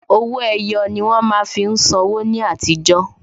Owó ẹyọ ni wón má fi ń san wó ní àtijọ́